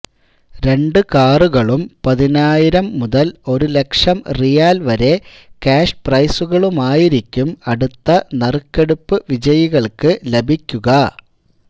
രണ്ട് കാറുകളും പതിനായിരം മുതല് ഒരു ലക്ഷം റിയാല് വരെ ക്യാഷ് പ്രൈസുകളുമായിരിക്കും അടുത്ത നറുക്കെടുപ്പ് വിജയികള്ക്ക് ലഭിക്കുക